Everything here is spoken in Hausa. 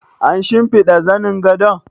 An shimfiɗa zanin gadon?